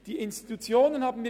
Die Institutionen sagten mir: